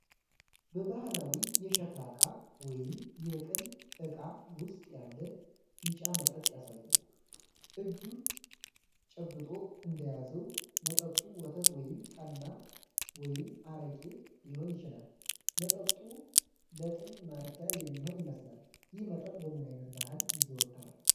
በባህላዊ የሸክላ ዕቃ (የቅል ዕቃ) ውስጥ ያለ ቢጫ መጠጥ ያሳያል። እጁ ጨብጦ እንደያዘው፣ መጠጡ ወተት ወይም ጠላ/አረቄ ሊሆን ይችላል። መጠጡ ለጥም ማርኪያ የሚሆን ይመስላል። ይህ መጠጥ በምን ዓይነት ባህል ይዘወተራል?